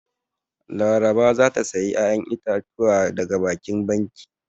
Laraba za ta sayi 'ya'yan itatuwa daga babban kanti.